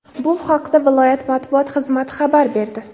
Bu haqda viloyat matbuot xizmati xabar berdi .